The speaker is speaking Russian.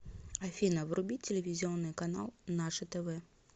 афина вруби телевизионный канал наше тв